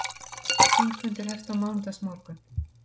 Þingfundur hefst á mánudagsmorgun